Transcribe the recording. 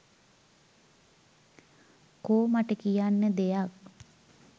කෝ මට කියන්න දෙයක්